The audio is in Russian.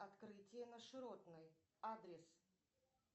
открытие на широтной адрес